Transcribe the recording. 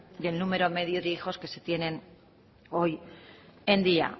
y el número medio de hijos que se tienen hoy en día